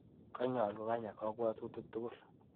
Kalyaa kokanya kabwatutik tukul.